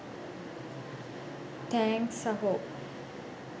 thanks සහෝ